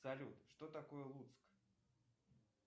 салют что такое луцк